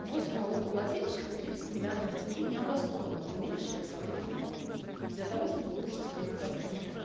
восемь налогоплательщиков тридцать миллиардов тенге необоснованно уменьшили свои переплаты для того чтобы улучшить свои показатели